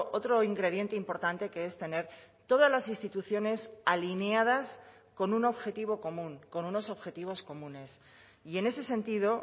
otro ingrediente importante que es tener todas las instituciones alineadas con un objetivo común con unos objetivos comunes y en ese sentido